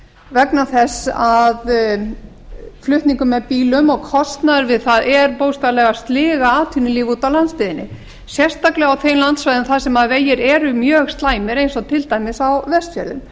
vegna þess að flutningur með bílum og kostnaður við það er bókstaflega að sliga atvinnulíf úti á landsbyggðinni sérstaklega á þeim landsvæðum þar sem vegir eru mjög slæmir eins og til dæmis á vestfjörðum